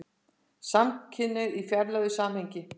SAMKYNHNEIGÐ Í FRÆÐILEGU SAMHENGI